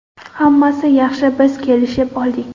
Hammasi yaxshi, biz kelishib oldik!